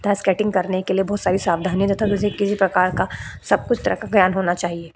था स्केटिंग करने के लिए बहुत सारी सावधानी किसी प्रकार का सब कुछ तरह का ज्ञान होना चाहिए।